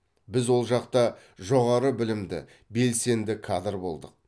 біз ол жақта жоғары білімді белсенді кадр болдық